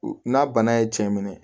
N'a bana ye cɛ minɛ